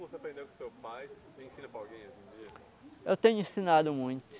você aprendeu com seu pai, você ensina para alguém hoje em dia? Eu tenho ensinado muito.